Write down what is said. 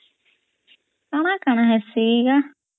ଆମର୍ କଣ ହାସି ୟା